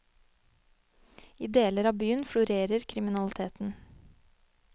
I deler av byen florerer kriminaliteten.